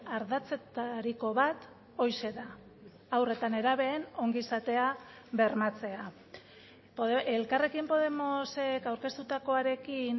ardatzetariko bat horixe da haur eta nerabeen ongizatea bermatzea elkarrekin podemosek aurkeztutakoarekin